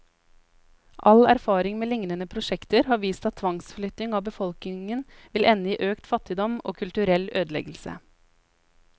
All erfaring med lignende prosjekter har vist at tvangsflytting av befolkningen vil ende i økt fattigdom, og kulturell ødeleggelse.